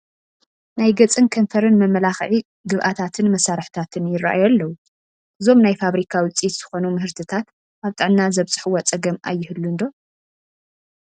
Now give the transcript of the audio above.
ናይ ገፅን ከንፈርን መመላክዒ ግብኣታትን መሳርሕታትን ይርአዩ ኣለዉ፡፡ እዞም ናይ ፋብሪካ ውፅኢት ዝኾኑ ምህርትታት ኣብ ጥዕና ዘብፅሕዎ ፀገም ኣይህሉን ዶ?